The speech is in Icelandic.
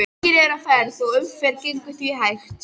Margir eru á ferð og umferðin gengur því hægt.